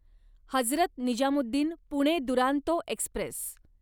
Hazrat Nizamuddin Pune Duronto Express